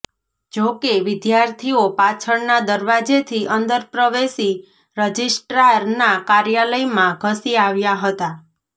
જો કે વિદ્યાર્થીઓ પાછળના દરવાજેથી અંદર પ્રવેશી રજિસ્ટ્રારના કાર્યાલયમાં ઘસી આવ્યાં હતાં